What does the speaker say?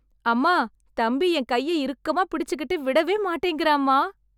அம்மா, தம்பி என் கையை இறுக்கமா பிடிச்சிகிட்டு விடவே மாட்டேங்கறான்மா...